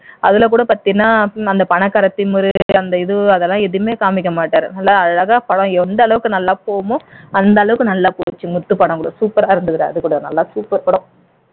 அதுல கூட பாத்தீன்னா அன்த பணக்கார திமிரு அந்த இது அதெல்லாம் எதுவுமே காமிக்க மாட்டார் நல்லா அழகா படம் எந்த அளவுக்கு நல்லா போகுமோ அந்த அளவுக்கு நல்லா போச்சு முத்து படம் கூட super ஆ இருந்தது அது கூட நல்ல படம் super படம்